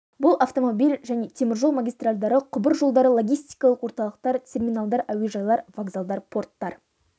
бұл автомобиль және темір жол магистральдары құбыр жолдары логистикалық орталықтар терминалдар әуежайлар вокзалдар порттар